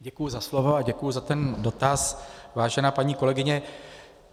Děkuji za slovo a děkuji za ten dotaz, vážená paní kolegyně.